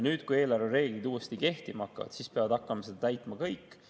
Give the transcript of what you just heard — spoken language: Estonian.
Kui eelarvereeglid nüüd uuesti kehtima hakkavad, siis peavad hakkama neid täitma kõik.